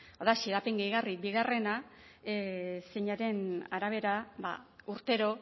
hau da xedapen gehigarri bia zeinaren arabera urtero